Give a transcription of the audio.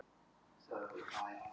Loftmynd af Bessastöðum.